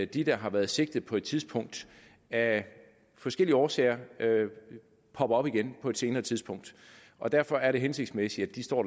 de der har været sigtet på et tidspunkt af forskellige årsager popper op igen på et senere tidspunkt og derfor er det hensigtsmæssigt at de står